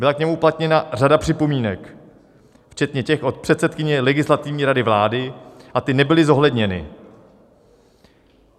Byla k němu uplatněna řada připomínek, včetně těch od předsedkyně Legislativní rady vlády, a ty nebyly zohledněny.